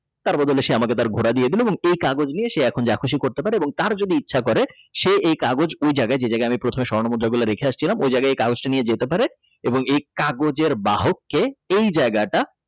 তার বদলে সে আমাকে তার ঘোড়া দিয়ে দিল এবং এই কাগজ নিয়ে যা খুশি করতে পারে তার যদি ইচ্ছা করে যে এই কাগজ ওই জায়গায় যে জায়গায় আমি প্রথমে স্বর্ণ মুদ্রা গুলো রেখে আসছিলাম ওই জায়গায় এই কাগজটা নিয়ে যেতে পারে এবং এই কাগজের বাহককে এই জায়গাটা।